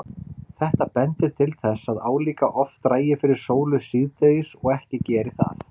Þetta bendir til þess að álíka oft dragi fyrir sólu síðdegis og ekki geri það.